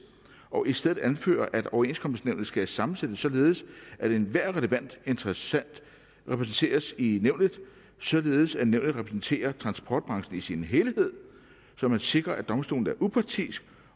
og i stedet anfører at overenskomstnævnet skal sammensættes således at enhver relevant interessent repræsenteres i nævnet således at nævnet repræsenterer transportbranchen i sin helhed så man sikrer at domstolen er upartisk